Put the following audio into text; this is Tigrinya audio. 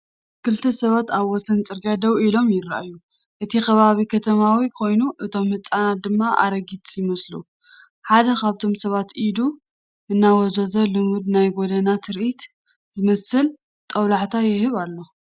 ክልተ ሰባት ኣብ ወሰን ጽርግያ ደው ኢሎም ይረኣዩ። እቲ ከባቢ ከተማዊ ኮይኑ እቶም ህንጻታት ድማ ኣረጊት ይመስሉ። ሓደ ካብቶም ሰባት ኢዱ እናወዛወዘ፡ ልሙድ ናይ ጎደና ትርኢት ዝመስል ጦብላሕታ ይህብ ኣሎ።